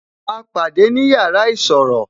A pàdé ni yàrá isọ̀rọ̀